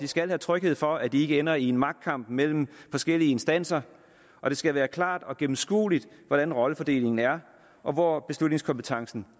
skal have tryghed for at de ikke ender i en magtkamp mellem forskellige instanser og det skal være klart og gennemskueligt hvordan rollefordelingen er og hvor beslutningskompetencen